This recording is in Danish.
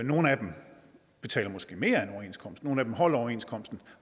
nogle af dem betaler måske mere end overenskomsten nogle af dem holder overenskomsten og